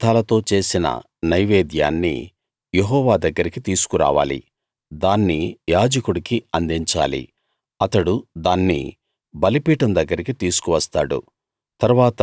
ఈ పదార్ధాలతో చేసిన నైవేద్యాన్ని యెహోవా దగ్గరికి తీసుకురావాలి దాన్ని యాజకుడికి అందించాలి అతడు దాన్ని బలిపీఠం దగ్గరికి తీసుకు వస్తాడు